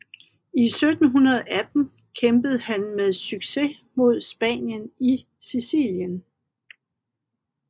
I 1718 kæmpede han med succes mod Spanien i Sicilien